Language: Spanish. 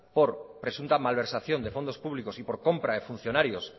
por presunta malversación de fondos públicos y por compra de funcionarios